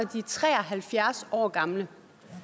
er tre og halvfjerds år gammel